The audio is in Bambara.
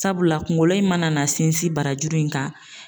Sabula kunkolo in mana sinsin barajuru in kan